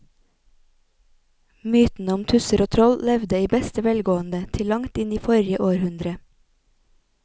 Mytene om tusser og troll levde i beste velgående til langt inn i forrige århundre.